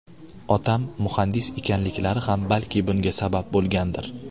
Otam muhandis ekanliklari ham balki bunga sabab bo‘lgandir.